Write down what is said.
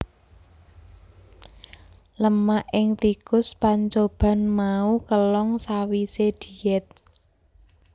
Lemak ing tikus pancoban mau kélong sawisé diet